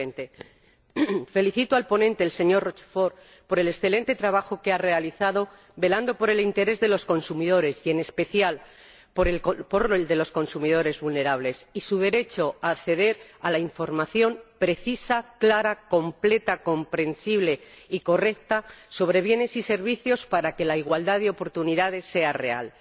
2020. Felicito al ponente, el señor Rochefort, por el excelente trabajo que ha realizado, velando por el interés de los consumidores —y, en especial, por el de los consumidores vulnerables— y por su derecho a acceder a una información precisa, clara, completa, comprensible y correcta sobre bienes y servicios para que la igualdad de oportunidades sea real.